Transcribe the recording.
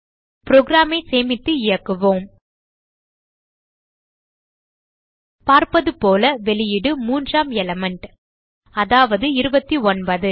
program ஐ சேமித்து இயக்குவோம் பார்ப்பது போல வெளியீடு மூன்றாம் எலிமெண்ட் அதாவது 29